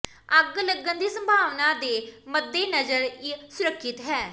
ਅੱਗ ਲੱਗਣ ਦੀ ਸੰਭਾਵਨਾ ਦੇ ਮੱਦੇਨਜ਼ਰ ਇਹ ਸੁਰੱਖਿਅਤ ਹੈ